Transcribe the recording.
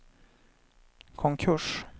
konkurs